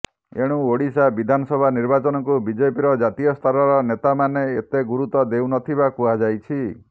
ଏଣୁ ଓଡ଼ିଶା ବିଧାନସଭା ନିର୍ବାଚନକୁ ବିଜେପିର ଜାତୀୟ ସ୍ତରର ନେତାମାନେ ଏତେ ଗୁରୁତ୍ୱ ଦେଉ ନଥିବା କୁହାଯାଉଛି